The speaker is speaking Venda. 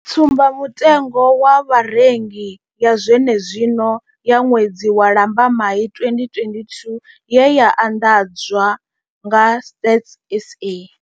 Tsumbamutengo wa vharengi ya zwenezwino ya ṅwedzi wa Lambamai 2022 ye ya anḓadzwa nga Stats SA.